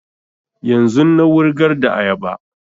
Yanzun na wurgar da ayaba